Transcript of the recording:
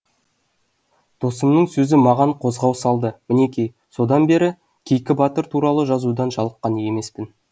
досымның сөзі маған қозғау салды мінеки содан бері кейкі батыр туралы жазудан жалыққан емеспін